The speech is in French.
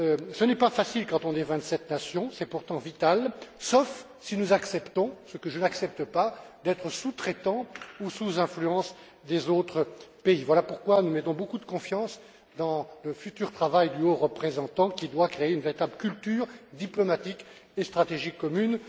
Ce n'est pas facile quand on est vingt sept nations, mais c'est pourtant vital, sauf si nous acceptons, ce que personnellement je n'accepte pas, d'être des sous traitants ou d'être sous l'influence des autres pays. Voilà pourquoi nous mettons beaucoup de confiance dans le futur travail du haut représentant à qui il appartiendra de créer une véritable culture diplomatique et stratégique commune.